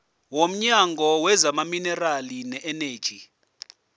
womnyango wezamaminerali neeneji